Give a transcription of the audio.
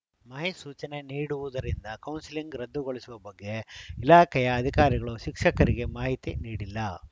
ಮಹೇಶ್‌ ಸೂಚನೆ ನೀಡು ವುದರಿಂದ ಕೌನ್ಸೆಲಿಂಗ್‌ ರದ್ದುಗೊಳಿಸುವ ಬಗ್ಗೆ ಇಲಾಖೆಯ ಅಧಿಕಾರಿಗಳು ಶಿಕ್ಷಕರಿಗೆ ಮಾಹಿತಿ ನೀಡಿಲ್ಲ